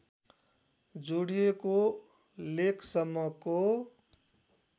जोडिएको लेकसम्मको